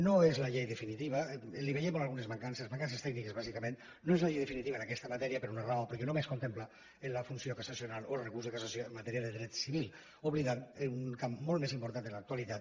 no és la llei definitiva li veiem algunes mancances mancances tècniques bàsicament no és la llei definitiva en aquesta matèria per un raó perquè només contempla la funció cassacional o el recurs de cassació en matèria de dret civil i oblida un camp molt més important en l’actualitat